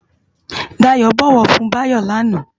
Dayo bòwò fun Bayo láná